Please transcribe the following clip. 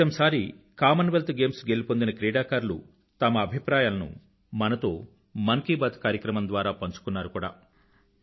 క్రితంసారి Commonwealth Games గెలుపొందిన క్రీడాకారులు తమ అభిప్రాయాలను మనతో మన్ కీ బాత్ కార్యక్రమం ద్వారా పంచుకున్నారు కూడా